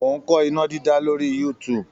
Mò ń kọ́ iná dídá lórí youtube.